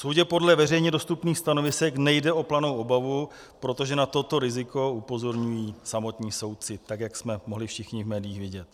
Soudě podle veřejně dostupných stanovisek nejde o planou obavu, protože na toto riziko upozorňují samotní soudci, tak jak jsme mohli všichni v médiích vidět.